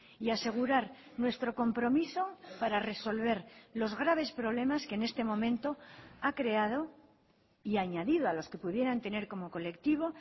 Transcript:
y asegurar nuestro compromiso para resolver los graves problemas que en este momento ha creado y añadido a los que pudieran tener como colectivo